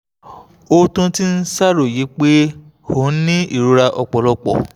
ó tún ti ń ṣàròyé pé ó ń ní ìrora ọ̀pọ̀lọpọ̀